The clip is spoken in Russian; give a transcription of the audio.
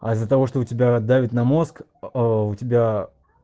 а из-за того что у тебя давит на мозг у тебя